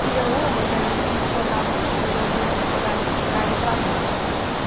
Tinha uma que a gente contava, assim, que tinha um Joãozinho que ia pegar carne para a mãe.